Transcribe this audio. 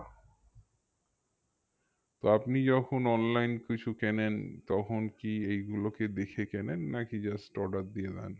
তো আপনি যখন online কিছু কেনেন তখন কি এইগুলোকে দেখে কেনেন না কি just order দিয়ে দেন?